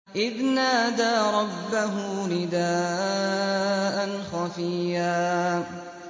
إِذْ نَادَىٰ رَبَّهُ نِدَاءً خَفِيًّا